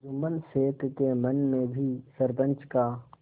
जुम्मन शेख के मन में भी सरपंच का